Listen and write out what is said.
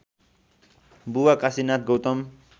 बुबा काशीनाथ गौतम